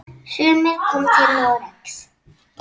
Sumir koma til Noregs.